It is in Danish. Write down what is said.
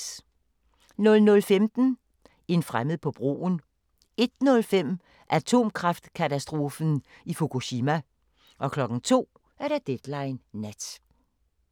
00:15: En fremmed på broen 01:05: Atomkraftkatastrofen i Fukushima 02:00: Deadline Nat